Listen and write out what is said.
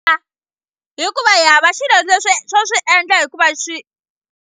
A hikuva hi hava xilo swo swi endla hikuva swi.